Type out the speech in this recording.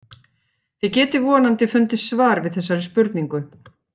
Þið getið vonandi fundið svar við þessari spurningu.